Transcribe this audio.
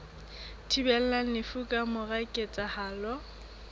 thibelang lefu ka mora ketsahalo